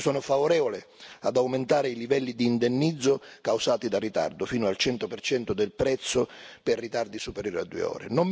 Io sono favorevole ad aumentare i livelli di indennizzo causati dal ritardo fino al 100 del prezzo per ritardi superiori a due ore.